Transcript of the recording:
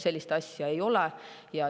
Sellist asja ei ole.